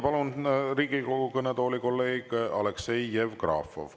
Palun Riigikogu kõnetooli kolleeg Aleksei Jevgrafovi.